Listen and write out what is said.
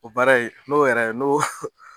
O baara in n'o yɛrɛ n'o